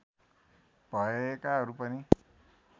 भएकाहरू पनि